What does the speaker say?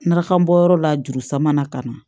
Narakan bɔyɔrɔ la jurusan mana ka na